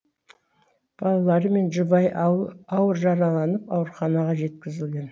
балалары мен жұбайы ауыр жараланып ауруханаға жеткізілген